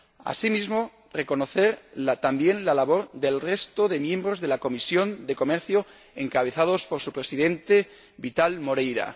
Asimismo, reconocer también la labor del resto de miembros de la Comisión de Comercio Internacional, encabezados por su presidente, Vital Moreira.